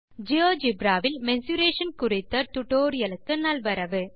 GeoGebra வில் mensuration குறித்த tutorial க்கு நல்வரவு